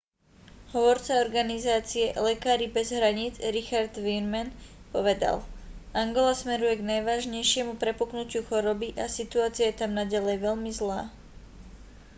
hovorca organizácie lekári bez hraníc richard veerman povedal angola smeruje k najvážnejšiemu prepuknutiu choroby a situácia je tam naďalej veľmi zlá